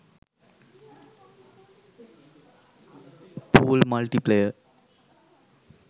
pool multiplayer